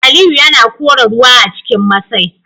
Aliyu yana kora ruwa a cikin masai